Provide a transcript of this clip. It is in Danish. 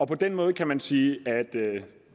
på den måde kan man sige at